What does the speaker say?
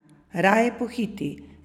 Raje pohiti!